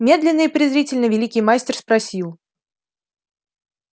медленно и презрительно великий мастер спросил